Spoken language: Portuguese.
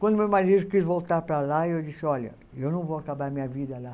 Quando meu marido quis voltar para lá, eu disse, olha, eu não vou acabar minha vida lá.